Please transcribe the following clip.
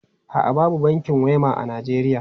A'a, babu bankin Wema a Najeriya.